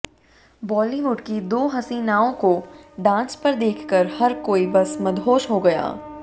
बॉलीवुड की दो हसीनाओं को डांस पर देखकर हर कोई बस मदहोश हो गया